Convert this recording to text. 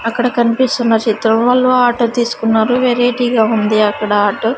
అక్కడ కనిపిస్తున్న చిత్రంలో ఆటో తీసుకున్నారు వెరైటీగా ఉంది అక్కడ ఆటో .